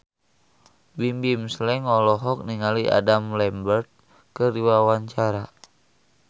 Bimbim Slank olohok ningali Adam Lambert keur diwawancara